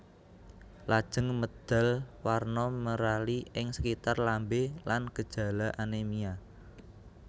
Lajeng medal warna merali ing sekitar lambé lan gejala anémia